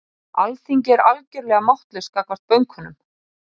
Alþingi er algjörlega máttlaust gagnvart bönkunum